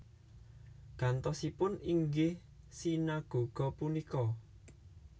Gantosipun inggih sinagoga punika